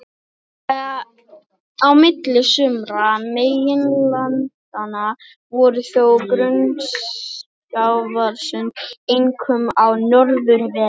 Á milli sumra meginlandanna voru þó grunn sjávarsund, einkum á norðurhveli.